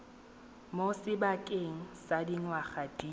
mo sebakeng sa dingwaga di